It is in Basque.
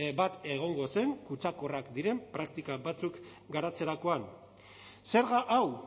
bat egongo zen kutsakorrrak diren praktika batzuk garatzerakoan zerga hau